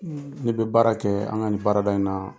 ne be baara kɛɛ an ŋa nin baarada in na.